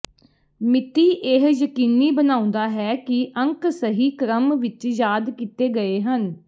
ਮਿਤੀ ਇਹ ਯਕੀਨੀ ਬਣਾਉਂਦਾ ਹੈ ਕਿ ਅੰਕ ਸਹੀ ਕ੍ਰਮ ਵਿੱਚ ਯਾਦ ਕੀਤੇ ਗਏ ਹਨ